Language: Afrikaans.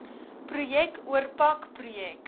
projek oorpak projek